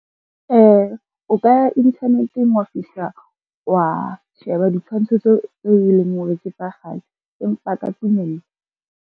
O ka ya internet-eng wa fihla wa sheba ditshwantsho tseo e leng hore ke tsa kgale empa ka .